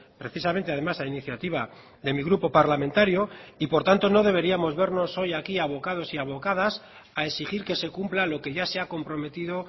precisamente además a iniciativa de mi grupo parlamentario y por tanto no deberíamos vernos hoy aquí abocados y abocadas a exigir que se cumpla lo que ya se ha comprometido